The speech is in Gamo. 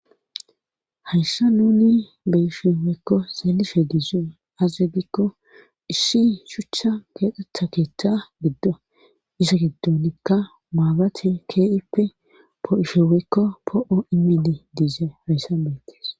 hayssa nuni beyshe woyekko xeelishe dizoy aze gikko issi shuchcha keexxetha keetha giddo isa giddonikka maabiratey kehippe poo7ishe woyekko poo7o imidishe dizays hayssan beetis